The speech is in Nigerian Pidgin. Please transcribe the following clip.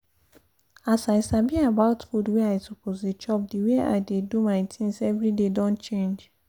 as i sabi about food wey i suppose dey chop the way i dey do my things every day don change